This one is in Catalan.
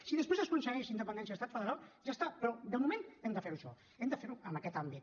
si després s’aconsegueix la independència o l’estat federal ja està però de moment hem de fer ho això hem de fer ho en aquest àmbit